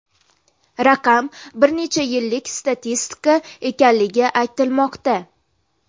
Raqam bir necha yillik statistika ekanligi aytilmoqda.